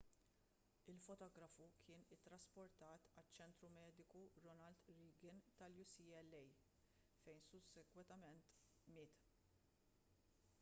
il-fotografu kien ittrasportat għaċ-ċentru mediku ronald reagan tal-ucla fejn sussegwentement miet